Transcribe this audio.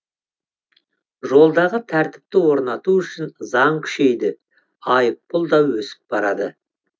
жолдағы тәртіпті орнату үшін заң күшейді айыппұл да өсіп барады